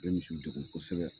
U bɛ misi degun kosɛbɛ